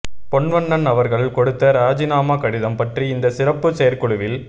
பொன்வண்ணன் அவர்கள் கொடுத்த ராஜினாமா கடிதம் பற்றி இந்த சிறப்பு செயற்குழுவில்